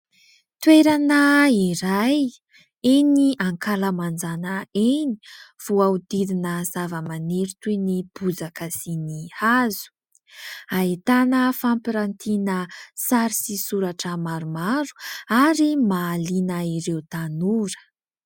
Toerana iray eny ankalamanjana eny, voahodidina zava-maniry toy ny bozaka sy ny hazo ahitana fampirantiana sary sy soratra maromaro ary mahaliana ireo tanora.